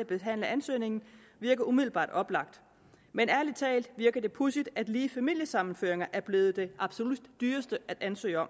at behandle ansøgningen virker umiddelbart oplagt men ærlig talt virker det pudsigt at lige familiesammenføring er blevet det absolut dyreste at ansøge om